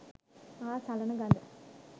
පා සලන ගඳ